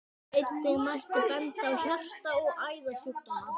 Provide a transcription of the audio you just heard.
Einnig mætti benda á hjarta- og æðasjúkdóma.